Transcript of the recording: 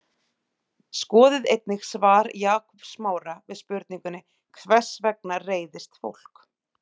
Skoðið einnig svar Jakobs Smára við spurningunni Hvers vegna reiðist fólk?